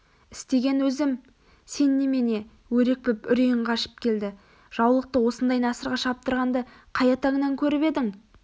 істеген өзім сен немене өрекпіп үрейің қашып келді жаулықты осындай насырға шаптырғанды қай атанңан көріп едің